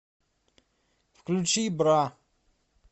включи бра